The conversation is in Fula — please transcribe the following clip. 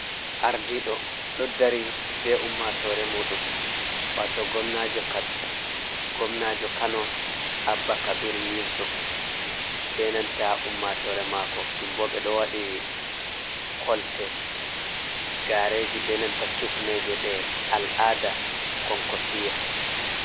Ardiɗo ɗo dari be Ummatore muɗum. wato Gomnajo kano Abba Kabir Yusuf. be nanta Ummatore mako ɗum bo ɓe ɗo waɗi Kolte. Gareji be nanta Kifneje ɗe al'ada Konkosiya.